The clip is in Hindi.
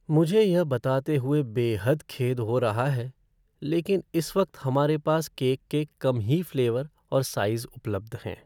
मुझे यह बताते हुए बेहद खेद हो रहा है, लेकिन इस वक्त हमारे पास केक के कम ही फ़्लेवर और साइज़ उपलब्ध हैं।